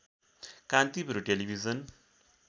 Kantipur television